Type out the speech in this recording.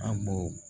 An b'o